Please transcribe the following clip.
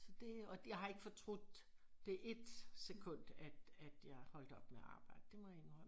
Så det og jeg har ikke fortrudt det ét sekund at at jeg holdt op med at arbejde det må jeg indrømme